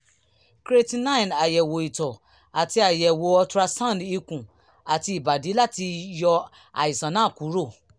creatinine àyẹ̀wò ìtọ̀ àti àyẹ̀wò ultrasound ikùn àti ìbàdí láti lè yọ àìsàn náà kúrò